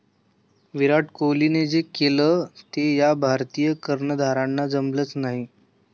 विराट कोहलीने जे केलं ते या भारतीय कर्णधारांना जमलंच नाही